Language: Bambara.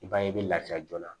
I b'a ye i bɛ lafiya joona